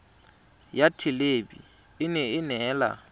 ya thelebi ene e neela